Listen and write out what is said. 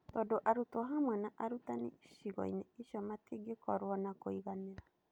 Tondũ arutwo hamwe na arutani icigo-inĩ icio matingĩkorwo na kũiganĩra.